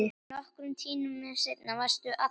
Nokkrum tímum seinna varstu allur.